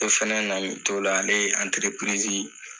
Ne fɛnɛ nalen n t'o la ne ye